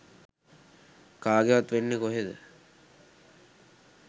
කාගෙවත් වෙන්නෙ කොහොමද?